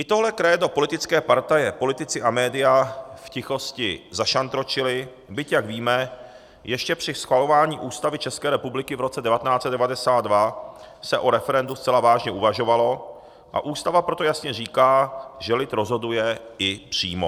I tohle krédo politické partaje, politici a média v tichosti zašantročily, byť, jak víme, ještě při schvalování Ústavy České republiky v roce 1992 se o referendu zcela vážně uvažovalo, a Ústava proto jasně říká, že lid rozhoduje i přímo.